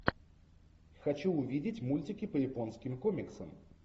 хочу увидеть мультики по японским комиксам